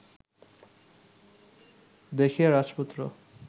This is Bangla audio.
দেখিয়া রাজপুত্র